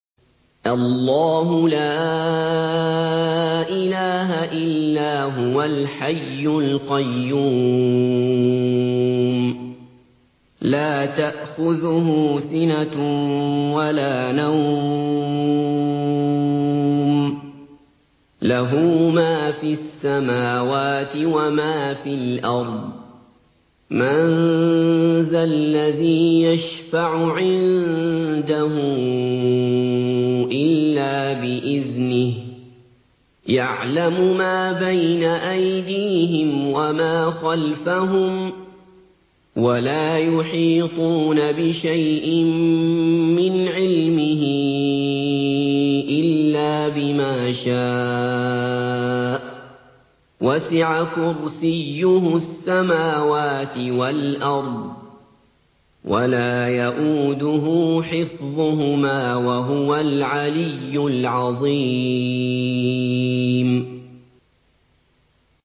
اللَّهُ لَا إِلَٰهَ إِلَّا هُوَ الْحَيُّ الْقَيُّومُ ۚ لَا تَأْخُذُهُ سِنَةٌ وَلَا نَوْمٌ ۚ لَّهُ مَا فِي السَّمَاوَاتِ وَمَا فِي الْأَرْضِ ۗ مَن ذَا الَّذِي يَشْفَعُ عِندَهُ إِلَّا بِإِذْنِهِ ۚ يَعْلَمُ مَا بَيْنَ أَيْدِيهِمْ وَمَا خَلْفَهُمْ ۖ وَلَا يُحِيطُونَ بِشَيْءٍ مِّنْ عِلْمِهِ إِلَّا بِمَا شَاءَ ۚ وَسِعَ كُرْسِيُّهُ السَّمَاوَاتِ وَالْأَرْضَ ۖ وَلَا يَئُودُهُ حِفْظُهُمَا ۚ وَهُوَ الْعَلِيُّ الْعَظِيمُ